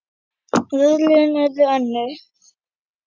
En örlögin urðu önnur.